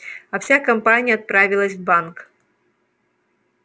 а вся компания отправилась в банк